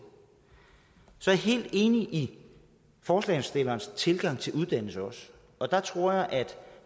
så er helt enig i forslagsstillernes tilgang til uddannelse og jeg tror at